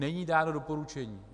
Není dáno doporučení.